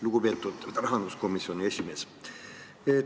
Lugupeetud rahanduskomisjoni esimees!